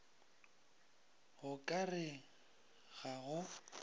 go ka re ga go